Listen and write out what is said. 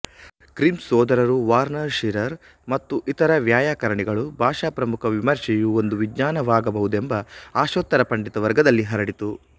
grim ಸೋದರರು Verner Scherer ಮತ್ತು ಇತರ ವೈಯಾಕರಣಿಗಳು ಭಾಷಾಪ್ರಮುಖ ವಿಮರ್ಶೆಯೂ ಒಂದು ವಿಜ್ಞಾನವಾಗಬಹುದೆಂಬ ಆಶೋತ್ತರ ಪಂಡಿತ ವರ್ಗದಲ್ಲಿ ಹರಡಿತು